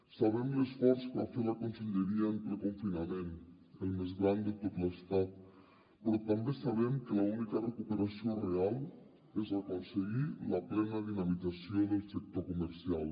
sabem l’esforç que va fer la conselleria en ple confinament el més gran de tot l’estat però també sabem que l’única recuperació real és aconseguir la plena dinamització del sector comercial